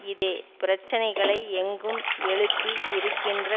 இதே பிரச்சினைகளை எங்கும் எழுப்பி இருக்கின்ற